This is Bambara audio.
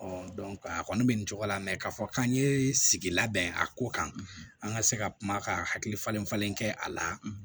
a kɔni bɛ nin cogo la mɛ k'a fɔ k'an ye sigi labɛn a ko kan an ka se ka kuma ka hakili falen falen kɛ a la